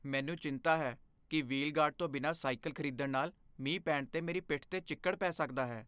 ਮੈਨੂੰ ਚਿੰਤਾ ਹੈ ਕਿ ਵ੍ਹੀਲ ਗਾਰਡ ਤੋਂ ਬਿਨਾਂ ਸਾਈਕਲ ਖ਼ਰੀਦਣ ਨਾਲ ਮੀਂਹ ਪੈਣ 'ਤੇ ਮੇਰੀ ਪਿੱਠ 'ਤੇ ਚਿੱਕੜ ਪੈ ਸਕਦਾ ਹੈ।